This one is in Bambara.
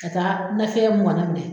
Ka taa nafɛ mɛnɛ.